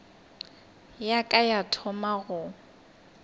ya ka ya thoma go